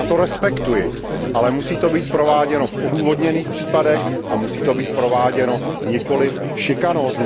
Já to respektuji, ale musí to být prováděno v odůvodněných případech a musí to být prováděno nikoliv z důvodu šikany.